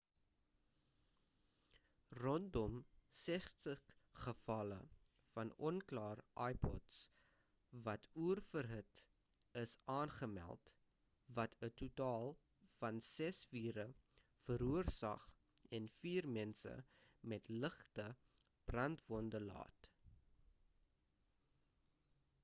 rondom 60 gevalle van onklaar ipods wat oorverhit is aangemeld wat 'n totaal van ses vure veroorsaak en vier mense met ligte brandwonde laat